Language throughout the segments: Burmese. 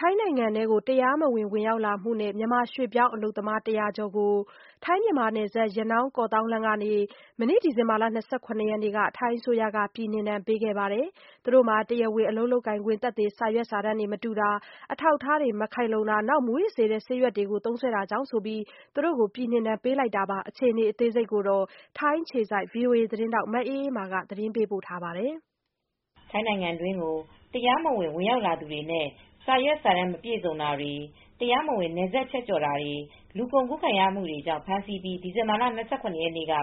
ထိုင်းနိုင်ငံထဲကို တရားမဝင် ဝင်ရောက်မှုနဲ့ မြန်မာရွှေ့ပြောင်းအလုပ်သမား ၁၀၀ ကျော်ကို ထိုင်း-မြန်မာနယ်စပ် ရနောင်း-ကေ့ာသောင်းလမ်းကနေ ဒီဇင်ဘာလ ၂၇ ရက်နေ့က ထိုင်းအစိုးရက ပြည်နှင်ဒဏ်ပေးခဲ့ပါတယ်။ တရားဝင် အလုပ်လုပ်ကိုင်ခွင့် သက်သေ စာရွက်စာတမ်းမတူတာ၊ အထောက်အထား မခိုင်လုံတာ၊ မူးယစ်စေတတ်တဲ့ ဆေးရွက်တွေ သုံးစွဲတာကြောင့်ဆိုပြီး သူတို့ကို ပြည်နှင်ဒဏ်ပေးလိုက်တာပါ။ အပြည့်အစုံကို ဗွီအိုအေ မြန်မာပိုင်းသတင်းထောက် မအေးအေးမာက သတင်းပေးပို့ထားပါတယ်။ ထိုင်းနိုင်ငံတွင်းကို တရားမဝင် ဝင်ရောက်လာသူတွေနဲ့ စာရွက်စာတမ်း မပြည့်စုံတာတွေ၊ တရားမဝင် နယ်စပ်ဖြတ်ကျော်တာတွေ၊ လူကုန်ကူးခံရမှုတွေကြောင့် ဖမ်းဆီးပြီး ဒီဇင်ဘာလ ၂၇ ရက်နေ့က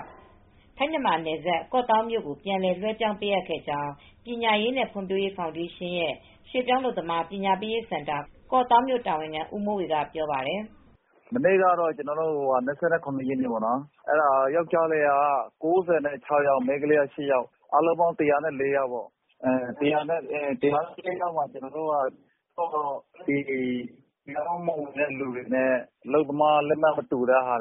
ထိုင်း-မြန်မာနယ်စပ် ကော့သောင်းမြို့ကို ပြန်လည်လွဲှပြောင်းပေးခဲ့ကြောင်း ပညာရေးနဲ့ ဖွံ့ဖြိုးရေးဖောင်ဒေးရှင်း ရွှေ့ပြောင်းအလုပ်သမား ပညာပေးစင်တာ ကောင့်သောင်းမြို့တာဝန်ခံ ဦးမိုးဝေက ပြောပါတယ်။ “မနေ့က ၂၇ ရက်နေ့မှာ ယောက်ျားလေးက ၉၆ ယောက်၊ မိန်းကလေးက ၈ ယောက်၊ အားလုံးပေါင်း ၁၀၄ ယောက်၊ တရားမဝင်တဲ့သူတွေနဲ့ အလုပ်သမားလက်မှတ် မတူတာ၊ အာ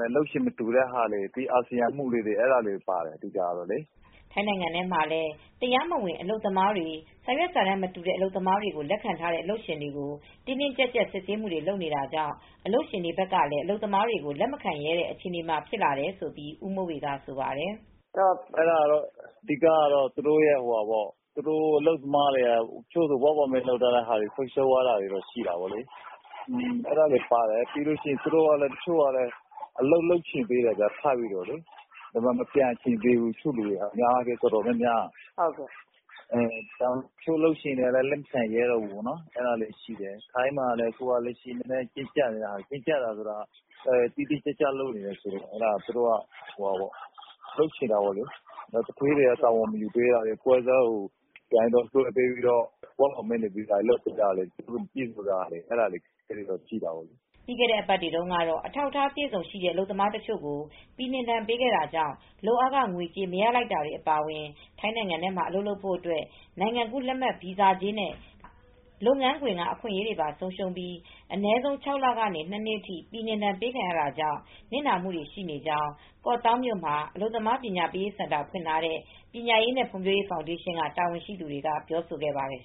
ဆီယံမှုလေးတွေပါတယ်။ အာဆီယံမှုဆိုတာ မူးယစ်စေတတ်တဲ့ အရွက်တမျိုးဖြစ်တဲ့ ဘိန်းစာရွက်ကို သောက်သုံးသူများကို ဆိုလိုပါတယ်။” ထိုင်းနိုင်ငံမှာလည်း တရားမဝင် အလုပ်သမားတွေ စာရွက်စာတမ်းမတူတဲ့ အလုပ်သမားတွေကို လက်ခံထားတဲ့ အလုပ်ရှင်တွေကို တင်းတင်းကျပ်ကျပ် စစ်ဆေးမှုတွေ လုပ်နေတာကြောင့် အလုပ်ရှင်တွေကလည်း အလုပ်သမားတွေကို လက်မခံရဲတဲ့ အခြေအနေတွေ ဖြစ်လာတယ်လို့လည်း ဦးမိုးဝေက ဆိုပါတယ်။ “အဓိကတော့ အလုပ်သမားတွေက အလုပ်သမားလက်မှတ်တွေ ဆုံးရှုံးသွားပါတယ်။ တချို့က အလုပ်လုပ်ချင်သေးတယ်၊ မပြန်ချင်သေးဘူး။ တော်တော်များများက အချို့အလုပ်ရှင်တွေကလည်း လက်ခံရဲတော့ဘူး။ ထိုင်းမှာလည်း တင်းကျပ်နေတာ တိတိကျကျ လုပ်နေတယ်ဆိုတော့ မလုပ်ချင်တော့တာလေ။ သူဌေးတွေက တာဝန်ယူမပေးတာတွေ တချို့ကတော့ ပွဲစားတွေကတော့ အလုပ်သမားလက်မှတ်တွေ ယူပြီးတော့ နေရာမတူတဲ့ နေရာတွေမှာ လုပ်ပေးတာတွေတော့ ရှိနေတယ်။” ပြီးခဲ့တဲ့အပတ်တွေတုန်းကတော့ အထောက်အထား အပြည့်အစုံရှိတဲ့ အလုပ်သမားတချို့ကို ပြည်နှင်ဒဏ်ပေးခဲ့တာကြောင့် လုပ်အားခငွေကြေး မရလိုက်တာတွေ အပါအဝင် ထိုင်းနိုင်ငံထဲမှာ အလုပ်လုပ်ဖို့အတွက် နိုင်ငံကူးလက်မှတ် ဗီဇာကြေးနဲ့ လုပ်ငန်းခွင်က အခွင့်အရေးတွေပါ ဆုံးရှုံးပြီး အနည်းဆုံး ၆ လကနေ ၂ နှစ်အထိ ပြည်နှင်ဒဏ်ပေးခံရတာကြောင့် နစ်နာမှုတွေရှိကြောင်း ကော့သောင်းမြို့မှာ အလုပ်သမား ပညာပေးစင်တာ ဖွင့်ထားတဲ့ ပညာရေးနဲ့ ဖွံ့ဖြိုးရေးဖောင်ဒေးရှင်းက တာဝန်ရှိသူတွေက ပြောဆိုသွားပါတယ်